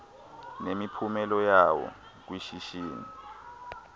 nemiphumela yawo kwishishini